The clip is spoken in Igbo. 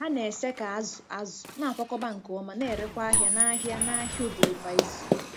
Ha na-ese ka azụ̀ azụ̀, na-akwakọba nke ọma, na-erekwa ahịa n'ahịa n'ahịa obodo kwa izu.